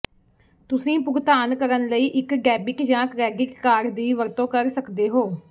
ਤੁਸੀਂ ਭੁਗਤਾਨ ਕਰਨ ਲਈ ਇੱਕ ਡੈਬਿਟ ਜਾਂ ਕ੍ਰੈਡਿਟ ਕਾਰਡ ਦੀ ਵਰਤੋਂ ਕਰ ਸਕਦੇ ਹੋ